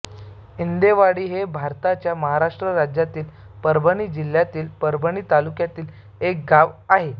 इंदेवाडी हे भारताच्या महाराष्ट्र राज्यातील परभणी जिल्ह्यातील परभणी तालुक्यातील एक गाव आहे